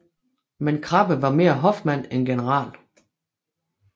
Men Krabbe var mere hofmand end general